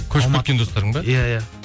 көшіп кеткен достарың ба иә иә